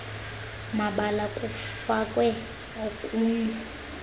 mabali kufakwe okunye